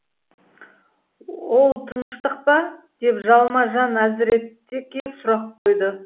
оу тыныштық па деп жалма жан әзіретке сұрақ қойды